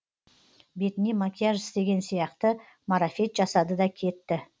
бетіне макияж істеген сияқты марафет жасады да кетті